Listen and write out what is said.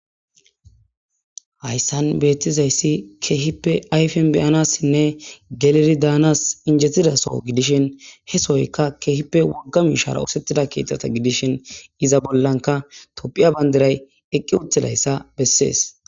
Hayssan beettizayssi keehippe ayfen beyanassinne galiri daanas injetidaso gidishin he soyka keehippe wagga mishara oosettida kietata gidishin iza bollanka topphiya bandiray eqqi uthedayssa bessees